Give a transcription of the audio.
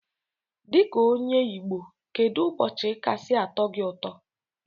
Dika onye igbo kedu ụbọchi kasi atọ gi ụtọ?